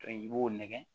I b'o nɛgɛ